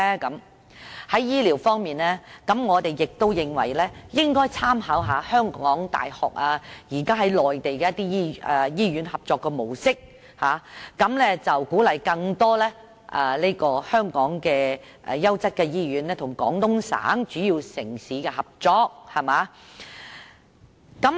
在醫療方面，我們認為應該參考香港大學現時與內地醫院合作的模式，以鼓勵更多香港的優質醫院與廣東省主要城市合作。